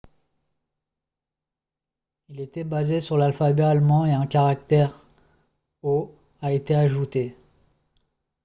il était basé sur l'alphabet allemand et un caractère « õ/õ » a été ajouté